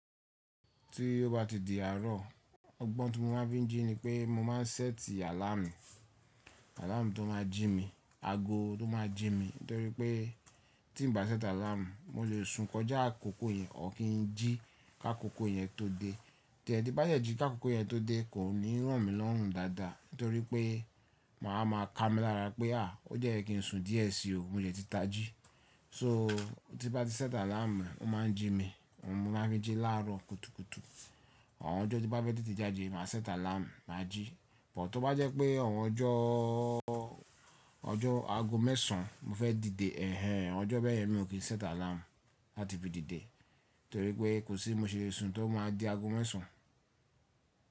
Tí ó bá ti di àárọ̀, ọgbọ́n tí mo máa ń fi jí ni pé mo máa ń sẹ́ẹ̀tì àláàmù, àláàmù tó máa jí mi, ago tó máa jí mi. Nítorí pé tí n bá sẹ́ẹ̀tì àláàmù, mo lè sun kọjá àkókò yẹn, ọ̀ kín jí ká kókó yẹn tó dé. Tí ẹ̀ ti bá jẹ́ jí ká kókó yẹn tó dé, kò ní ràn mí lọ́hùn dáadáa. Nítorí pé màá ma ka mí lára pé à, ó jẹ́ kí n sun díẹ̀ sí i o, mo jẹ̀ ti ta jí. So tí bá ti sẹ́ẹ̀tì àláàmù, ó máa ń jí mi, mo máa ń fi jí láàrọ̀ kùtùkùtù. Àwọn ọjọ́ tí bá fẹ́ tètè jáde, mà a sẹ́ẹ̀tì àláàmù, mà á jí. Bọ̀ tó bá jẹ́ pé àwọn ọjọ́, ọjọ́ ago mẹ́sàn-án mo fẹ́ dìde, ẹ̀hẹ̀n ẹ̀hẹ̀n, ọjọ́ bẹ́ẹ̀ yẹn mi ò kí í sẹ́ẹ̀tì àláàmù láti fi dìde. Nítorí pé kò sí mo ṣe e sun tó máa di ago mẹ́sàn-án.